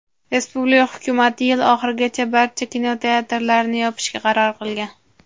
respublika Hukumati yil oxirigacha barcha kinoteatrlarni yopishga qaror qilgan.